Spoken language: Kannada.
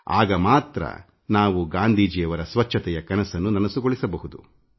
ಆಗ ಮಾತ್ರ ನಾವು ಗಾಂಧೀಜಿಯವರ ಸ್ವಚ್ಛತೆಯ ಕನಸನ್ನು ನನಸುಗೊಳಿಸಬಹುದು